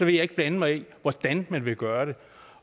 jeg ikke blande mig i hvordan man vil gøre det